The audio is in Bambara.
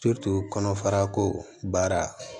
kɔnɔfara ko baara